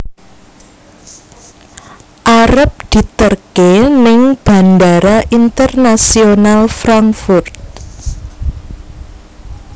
Arep diterke ning Bandara Internasional Frankfurt